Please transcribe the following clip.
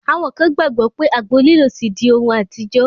Àwọn kan gbàgbọ́ pé àgbo lílò ti di ohun àtijọ́.